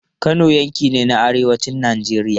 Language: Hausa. Kano yanki ne na arewacin Najeriya.